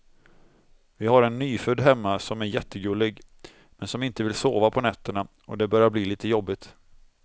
Vi har en nyfödd hemma som är jättegullig, men som inte vill sova på nätterna och det börjar bli lite jobbigt.